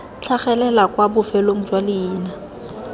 tlhagelela kwa bofelong jwa leina